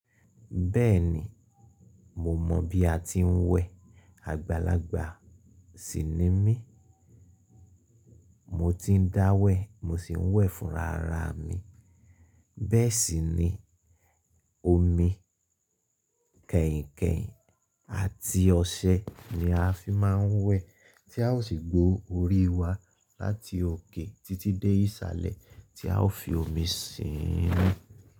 Bẹ́ẹ̀ni, mo mọ̀ bí a ti ń wẹ̀. Àgbàlagbà sì ni mí, mo tiń dá wẹ̀, mo sì ń wẹ̀ fúnra ra mi. Bẹ́ẹ̀ sì ni omi kẹ̀ǹkẹ̀ǹ àti ọṣẹ ni a fi máa ń wẹ̀ tí a ó sì gbó orí wa láti òkè títí dé ìsàlẹ̀ tí a ó fi omi sín nú.